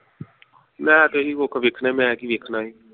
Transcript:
ਮੈਂ ਤੇ ਇਹ ਕੁਖ ਵੇਖਣਾ ਮੈਂ ਕੀ ਵੇਖਣਾ ਹੀਂ